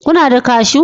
Kuna da kashu